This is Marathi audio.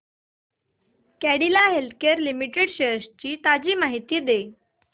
कॅडीला हेल्थकेयर लिमिटेड शेअर्स ची ताजी माहिती दे